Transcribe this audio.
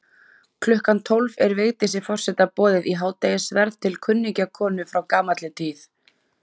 Klukkan tólf er Vigdísi forseta boðið í hádegisverð til kunningjakonu frá gamalli tíð.